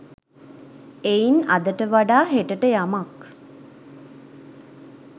එයින් අදට වඩා හෙටට යමක්